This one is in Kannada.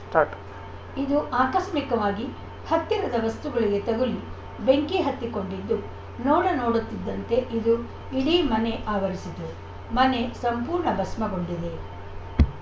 ಸ್ಟಾರ್ಟ್ ಇದು ಆಕಸ್ಮಿಕವಾಗಿ ಹತ್ತಿರದ ವಸ್ತುಗಳಿಗೆ ತಗುಲಿ ಬೆಂಕಿ ಹೊತ್ತಿಕೊಂಡಿದ್ದು ನೋಡ ನೋಡುತ್ತಿದ್ದಂತೆ ಇದು ಇಡೀ ಮನೆ ಆವರಿಸಿತು ಮನೆ ಸಂಪೂರ್ಣ ಭಸ್ಮಗೊಂಡಿದೆ